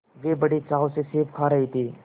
वे बड़े चाव से सेब खा रहे थे